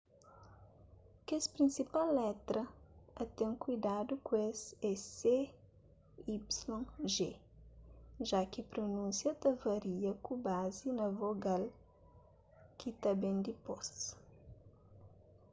kes prinsipal letra a ten kuidadu ku es é c y g já ki prunúnsia ta varia ku bazi na vogal ki ta ben dipôs